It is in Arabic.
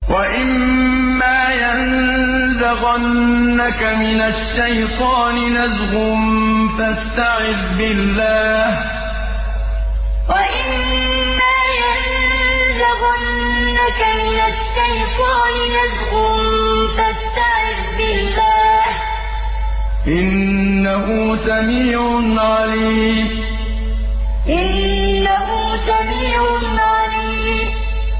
وَإِمَّا يَنزَغَنَّكَ مِنَ الشَّيْطَانِ نَزْغٌ فَاسْتَعِذْ بِاللَّهِ ۚ إِنَّهُ سَمِيعٌ عَلِيمٌ وَإِمَّا يَنزَغَنَّكَ مِنَ الشَّيْطَانِ نَزْغٌ فَاسْتَعِذْ بِاللَّهِ ۚ إِنَّهُ سَمِيعٌ عَلِيمٌ